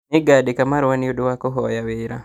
Nĩngandĩka marũa nĩũndũ wa kũhoya wĩra